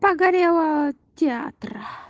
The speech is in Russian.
погорело театра